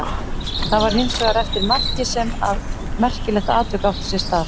Það var hins vegar eftir markið sem að merkilegt atvik átti sér stað.